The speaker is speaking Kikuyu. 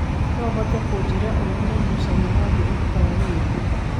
no ũhote kũnjĩira ũrĩa mũngũcanio wa thĩ ũrũtanga wĩra